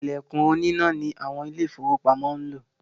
“Ìlẹ̀kùn oníná ” ni àwọn Ilé-ìfowópamọ́ ń lò